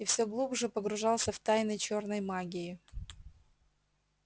и все глубже погружался в тайны чёрной магии